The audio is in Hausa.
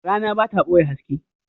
Rana ba ta ɓoye haske.